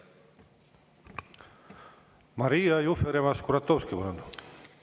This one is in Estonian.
Maria Jufereva-Skuratovski, palun!